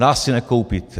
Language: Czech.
Nás si nekoupíte.